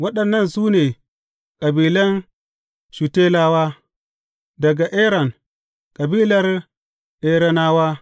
Waɗannan su ne kabilan Shutelawa, daga Eran, kabilar Eranawa.